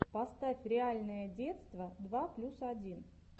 поставь реальное детство два плюс один